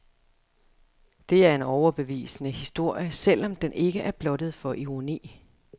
Det er en overbevisende historie, selv om den ikke er blottet for ironi.